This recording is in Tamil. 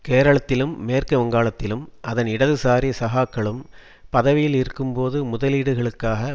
கேரளத்திலும் மேற்கு வங்காளத்திலும் அதன் இடதுசாரி சகாக்களும் பதவியில் இருக்கும்போது முதலீடுகளுக்காக